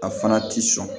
A fana ti sɔn